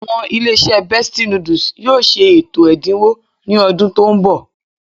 Àwọn ilé-iṣẹ́ Bestie noodles yóò ṣe ètò ẹ̀dínwó ní ọdún tó ń bọ̀